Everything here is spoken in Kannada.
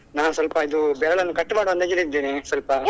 ನಾನು ಸ್ವಲ್ಪ ಇದು ಬೆರಳನ್ನು cut ಮಾಡುವ ಅಂದಾಜಲ್ಲಿ ಇದ್ದೇನೆ ಸ್ವಲ್ಪ.